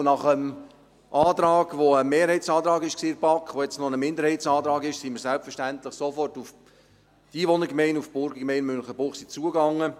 Nach dem Antrag, der in der BaK ein Mehrheitsantrag war und jetzt noch ein Minderheitsantrag ist, gingen wir selbstverständlich sofort auf die Einwohnergemeinde und Burgergemeinde Münchenbuchsee zu.